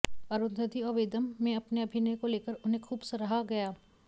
अरुंधति और वेदम में अपने अभिनय को लेकर उन्हें खूब सराहा गया